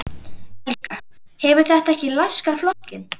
Helga: Hefur þetta ekki laskað flokkinn?